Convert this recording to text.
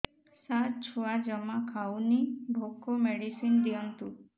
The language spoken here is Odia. ସାର ଛୁଆ ଜମା ଖାଉନି ଭୋକ ମେଡିସିନ ଦିଅନ୍ତୁ